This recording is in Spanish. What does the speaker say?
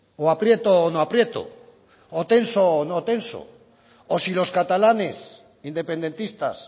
o aprieto o no aprieto o tenso o no tenso o si los catalanes independentistas